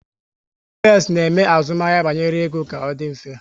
POS na eme azụmahịa banyere ego ka ọ dị mfe